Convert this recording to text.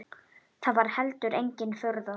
Það var heldur engin furða.